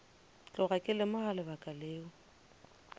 tloga ke lemoga lebaka leo